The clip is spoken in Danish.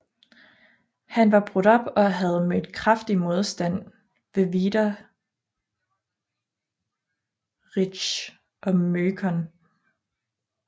Han var brudt op og havde mødt kraftig modstand ved Wiederitzsch og Möckern